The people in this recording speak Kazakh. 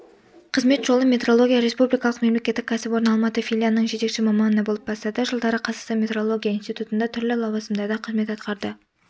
қызмет жолын метрология республикалық мемлекеттік кәсіпорны алматы филиалының жетекші маманы болып бастады жылдары қазақстан метрология институтында түрлі лауазымдарда қызмет атқарды